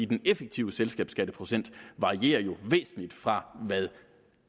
den effektive selskabsskatteprocent varierer jo væsentligt fra hvad